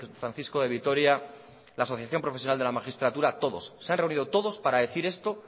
francisco de vitoria la asociación profesional de la magistraturatodos se han reunido todos para decir esto